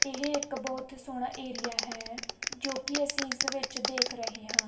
ਇਹ ਇੱਕ ਬਹੁਤ ਸੋਹਣਾ ਏਰੀਆ ਹੈ ਜੋ ਕਿ ਅਸੀਂ ਇਸ ਵਿੱਚ ਦੇਖ ਰਹੇ ਹਾਂ।